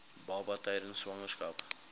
baba tydens swangerskap